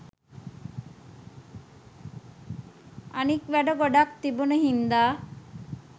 අනික් වැඩත් ගොඩක් තිබුන හින්ද.